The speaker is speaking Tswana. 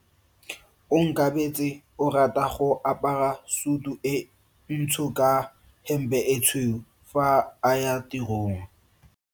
Onkabetse o rata go apara sutu e ntsho ka hempe e tshweu fa a ya tirong.